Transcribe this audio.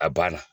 A banna